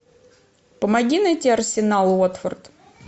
помоги найти арсенал уотфорд